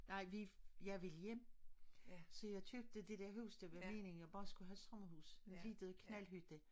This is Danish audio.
Nej vi jeg ville hjem så jeg købte det der hus det var meningen jeg bare skulle have et sommerhus en lille knaldhytte